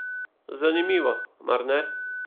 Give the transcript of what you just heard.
Zanimivo, mar ne?